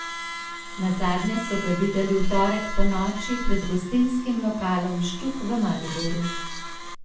Nazadnje so ga videli v torek ponoči pred gostinskim lokalom Štuk v Mariboru.